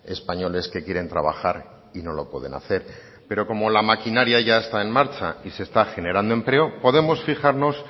españoles que quieren trabajar y no lo pueden hacer pero como la maquinaria ya está en marcha y se está generando empleo podemos fijarnos